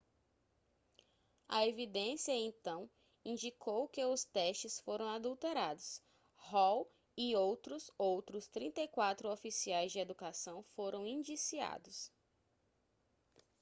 a evidência então indicou que os testes foram adulterados hall e outros outros 34 oficiais de educação foram indiciados